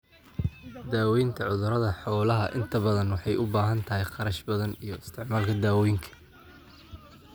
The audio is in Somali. Daawaynta cudurada xoolaha inta badan waxay u baahan tahay kharash badan iyo isticmaalka dawooyinka.